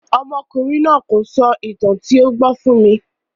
Ọmọkùnrin náà kò sọ ìtàn tí ó ṣe gbọ́ fún mi.